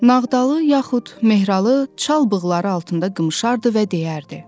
Nağdalı yaxud Mehralı çalbığları altında qımşardı və deyərdi: